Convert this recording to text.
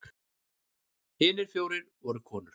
Hinir fjórir voru konur.